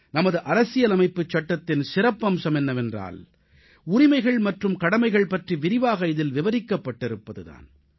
நமது அரசியலமைப்புச் சட்டத்தின் சிறப்பம்சம் என்னவென்றால் உரிமைகள் மற்றும் கடமைகள் பற்றி விரிவாக இதில் விவரிக்கப்பட்டிருப்பது தான்